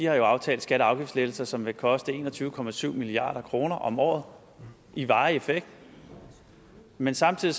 aftalt skatte og afgiftslettelser som vil koste en og tyve og tyve milliard kroner om året i varig effekt men samtidig